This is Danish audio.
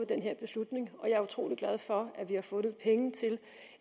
den her beslutning og jeg er utrolig glad for at vi har fundet penge til